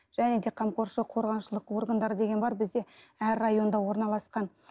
және де қамқоршылық қорғаншылық органдары деген бар бізде әр районда орналасқан